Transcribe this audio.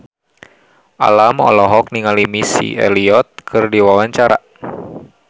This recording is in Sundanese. Alam olohok ningali Missy Elliott keur diwawancara